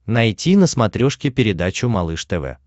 найти на смотрешке передачу малыш тв